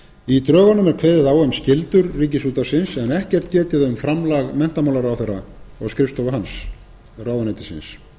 í drögunum er kveðið á um skyldur ríkisútvarpsins en ekkert getið um framlag menntamálaráðherra og skrifstofu hans ráðuneytisins það